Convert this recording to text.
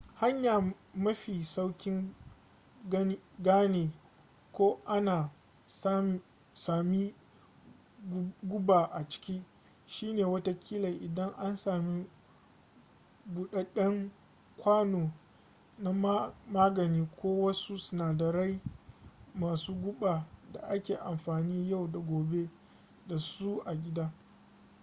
hanya mafi saukin gane ko ana sami guba a ciki shine watakila idan an sami budadden kwano na magani ko wasu sinadarai masu guba da ake amfanin yau da gobe da su a gida